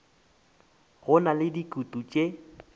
di na le dikutu tše